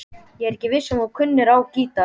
Ég vissi ekki að þú kynnir á gítar.